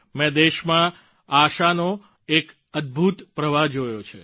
મેં દેશમાં આશાનો એક અદભૂત પ્રવાહ પણ જોયો છે